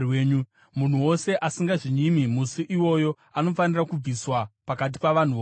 Munhu wose asingazvinyimi musi iwoyo anofanira kubviswa pakati pavanhu vokwake.